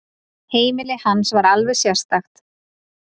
Heimili hans var alveg sérstakt.